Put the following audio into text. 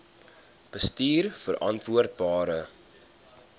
bestuurverantwoordbare